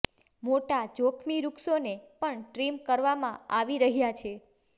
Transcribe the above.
મોટા જોખમી વૃક્ષોને પણ ટ્રીમ કરવામાં આવી રહ્યા છે